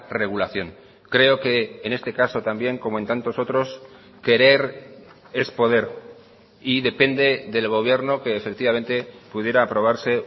regulación creo que en este caso también como en tantos otros querer es poder y depende del gobierno que efectivamente pudiera aprobarse